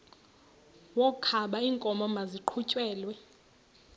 wokaba iinkomo maziqhutyelwe